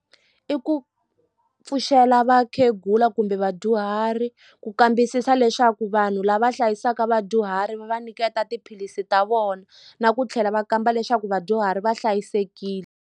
I ku pfuxela vakhegula kumbe vadyuhari ku kambisisa leswaku vanhu lava hlayisaka vadyuhari va va nyiketa tiphilisi ta vona na ku tlhela va kamba leswaku vadyuhari va hlayisekile.